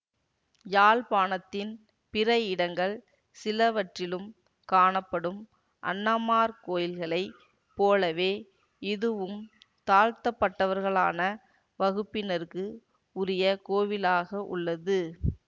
யாழ்ப்பாணத்தின் பிற இடங்கள் சிலவற்றிலும் காணப்படும் அண்ணமார் கோயில்களைப் போலவே இதுவும் தாழ்த்தப்பட்டவர்களான வகுப்பினருக்கு உரிய கோவிலாக உள்ளது